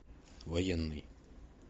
военный